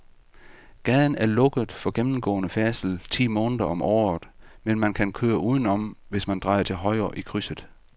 Gaden er lukket for gennemgående færdsel ti måneder om året, men man kan køre udenom, hvis man drejer til højre i krydset.